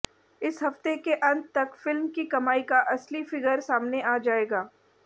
इस हफ्ते के अंत तक फिल्म की कमाई का असली फिगर सामने आ जाएगा